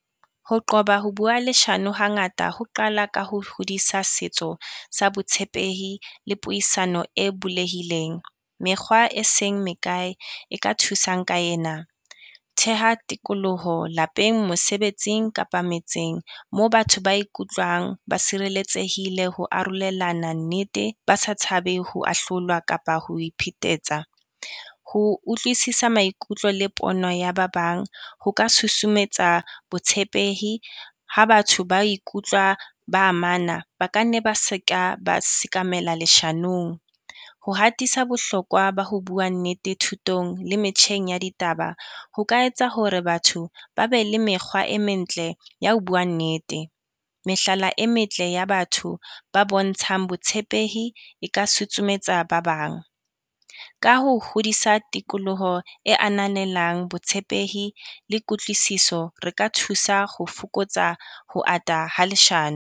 Ho qoba ho bua leshano hangata ho qala ka ho hodisa setso sa botshepehi le puisano e bulehileng. Mekgwa e seng mekae e ka thusang ka ena, theha tikoloho lapeng, mosebetsing kapa metseng moo batho ba ikutlwang ba sireletsehile ho arolelana nnete, ba sa tshabe ho ahlolwa kapa ho iphetetsa. Ho utlwisisa maikutlo le pono ya ba bang, ho ka susumetsa botshepehi ha batho ba ikutlwa ba amana ba ka nne ba se ka, ba sekamela leshanong. Ho hatisa bohlokwa ba ho bua nnete thutong le metjheng ya ditaba, ho ka etsa hore batho ba be le mekgwa e mentle ya ho bua nnete, mehlala e metle ya batho ba bontshang botshepehi e ka sutshumetsa ba bang. Ka ho hodisa tikoloho e ananelang botshepehi le kutlwisiso, re ka thusa ho fokotsa ho ata ha .